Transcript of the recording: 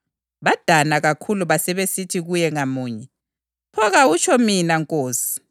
Badana kakhulu basebesithi kuye ngamunye, “Pho kawutsho mina Nkosi?”